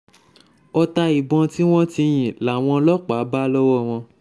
ọ̀tá ìbọn tí wọ́n ti yìn làwọn ọlọ́pàá bá lọ́wọ́ wọn